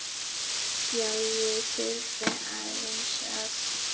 Já, ég þurfti aðeins að.